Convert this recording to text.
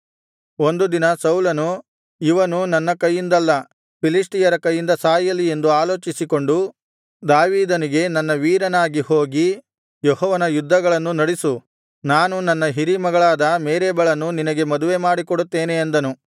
ಒಂದು ದಿನ ಸೌಲನು ಇವನು ನನ್ನ ಕೈಯಿಂದಲ್ಲ ಫಿಲಿಷ್ಟಿಯರ ಕೈಯಿಂದ ಸಾಯಲಿ ಎಂದು ಆಲೋಚಿಸಿಕೊಂಡು ದಾವೀದನಿಗೆ ನನ್ನ ವೀರನಾಗಿ ಹೋಗಿ ಯೆಹೋವನ ಯುದ್ಧಗಳನ್ನು ನಡಿಸು ನಾನು ನನ್ನ ಹಿರೀ ಮಗಳಾದ ಮೇರಬಳನ್ನು ನಿನಗೆ ಮದುವೆ ಮಾಡಿಕೊಡುತ್ತೇನೆ ಅಂದನು